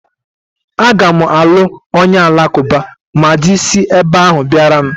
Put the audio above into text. Aga m alụ onye alakụba ma dị si ebe ahụ bịara m